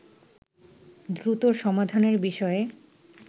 দ্রুত সমাধানের বিষয়ে